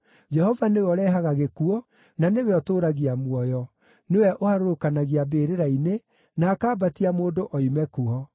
“Jehova nĩwe ũrehaga gĩkuũ, na nĩwe ũtũũragia muoyo; nĩwe ũharũrũkanagia mbĩrĩra-inĩ, na akambatia mũndũ oime kuo.